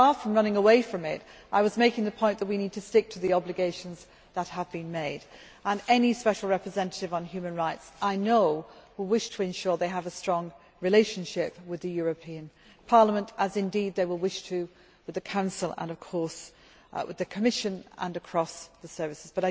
Far from running away from it, I was making the point that we need to stick to the obligations that have been made, and I know that any Special Representative on human rights will wish to ensure that they have a strong relationship with the European Parliament, as indeed they will wish to have with the Council and of course the Commission and across the services.